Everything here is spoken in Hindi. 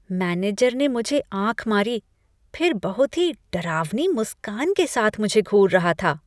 मैनेजर ने मुझे आँख मारी फिर बहुत ही डरावनी मुस्कान के साथ मुझे घूर रहा था।